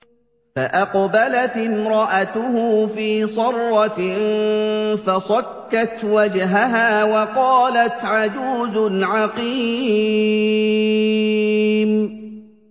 فَأَقْبَلَتِ امْرَأَتُهُ فِي صَرَّةٍ فَصَكَّتْ وَجْهَهَا وَقَالَتْ عَجُوزٌ عَقِيمٌ